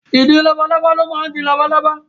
Ìdin labalábá ló máa ń di labalábá.